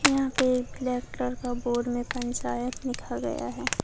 यहां पर एक कलेक्टर का बोर्ड में पंचायत लिखा गया है।